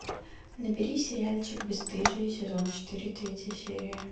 набери сериальчик бесстыжие сезон четыре третья серия